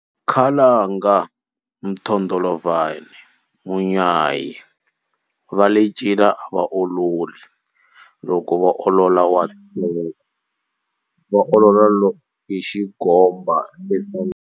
Khalanga, mthondolovhana, munyayi, vale ncila a va ololi, loko vo olola wa tshoveka, va olola hi xigombo sangweni,